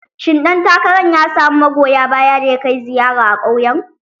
Shin ɗan takarar ya samu magoya baya da ya kai ziyara a ƙauyen?